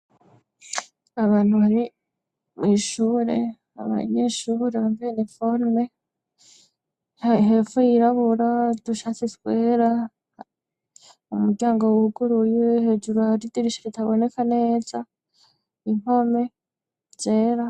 Abantu bari mw'ishure. Abanyeshure bambaye iniforme hepfo yirabura, udushati twera. Umuryango wuguruye. Hejuru hari idirisha ritaboneka neza, impome zera.